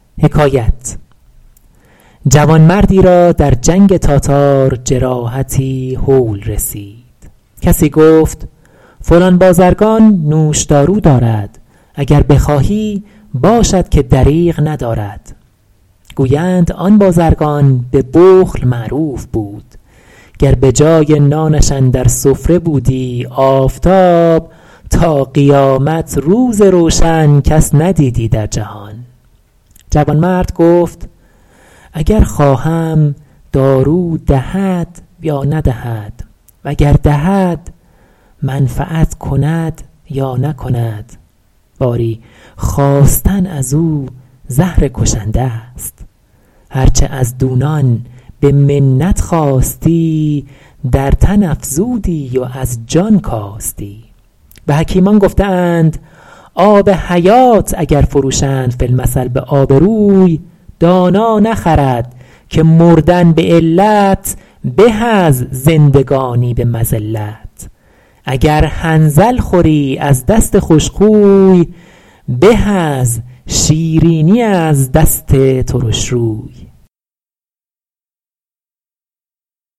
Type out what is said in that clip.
جوانمردی را در جنگ تاتار جراحتی هول رسید کسی گفت فلان بازرگان نوش دارو دارد اگر بخواهی باشد که دریغ ندارد گویند آن بازرگان به بخل معروف بود گر به جای نانش اندر سفره بودی آفتاب تا قیامت روز روشن کس ندیدی در جهان جوانمرد گفت اگر خواهم دارو دهد یا ندهد و گر دهد منفعت کند یا نکند باری خواستن از او زهر کشنده است هر چه از دونان به منت خواستی در تن افزودی و از جان کاستی و حکیمان گفته اند آب حیات اگر فروشند فی المثل به آب روی دانا نخرد که مردن به علت به از زندگانی به مذلت اگر حنظل خوری از دست خوش خوی به از شیرینی از دست ترش روی